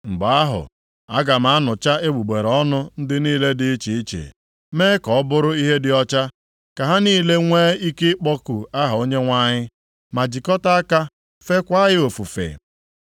“Mgbe ahụ, aga m anụcha egbugbere ọnụ + 3:9 Maọbụ, gbanwee okwu ha ndị niile dị iche iche mee ka ọ bụrụ ihe dị ọcha, ka ha niile nwee ike ịkpọku aha Onyenwe anyị, ma jikọta aka fekwaa ya ofufe.